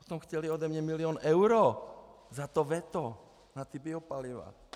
Potom chtěli po mně milion euro za to veto na ty biopaliva.